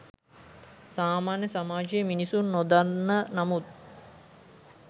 සාමාන්‍ය සමාජයේ මිනිසුන් නොදන්න නමුත්